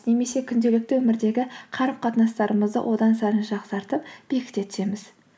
немесе күнделікті өмірдегі қарым қатынастарымызды одан сайын жақсартып бекіте түсеміз